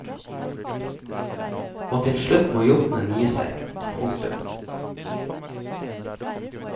Og til slutt må jotnen gi seg. punktum